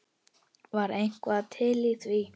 Var eitthvað til í því?